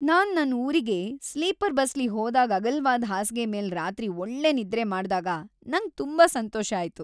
ನಾನ್ ನನ್ ಊರಿಗೆ ಸ್ಲೀಪರ್ ಬಸ್ಲಿ ಹೋದಾಗ್ ಅಗಲವಾದ್ ಹಾಸ್ಗೆ ಮೇಲ್ ರಾತ್ರಿ ಒಳ್ಳೆ ನಿದ್ರೆ ಮಾಡ್ದಾಗ ನಂಗ್ ತುಂಬಾ ಸಂತೋಷ ಆಯ್ತು.